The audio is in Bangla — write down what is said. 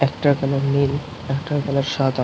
একটার কালার নীল একটার কালার সাদা।